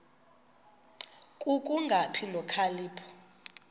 ku kungabi nokhalipho